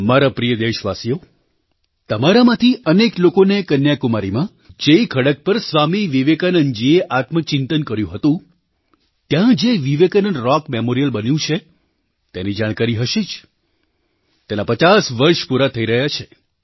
મારા પ્રિય દેશવાસીઓ તમારામાંથી અનેક લોકોને કન્યાકુમારીમાં જે ખડક પર સ્વામી વિવેકાનંદજીએ આત્મચિંતન કર્યું હતું ત્યાં જે વિવેકાનંદ રૉક મેમોરિયલ બન્યું છે તેની જાણકારી હશે જ તેનાં પચાસ વર્ષ પૂરાં થઈ રહ્યાં છે